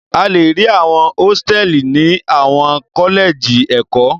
A le rí àwọn hósítẹ́ẹ́lì ní àwọn kọ́lẹ́jì ẹ̀kọ́.